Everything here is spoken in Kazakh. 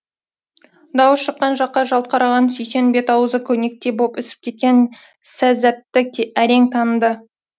дауыс шыққан жаққа жалт қараған сүйсен бет ауызы көнектей боп ісіп кеткен сәззәтті әрең таныды